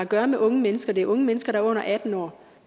gøre med unge mennesker det er unge mennesker der er under atten år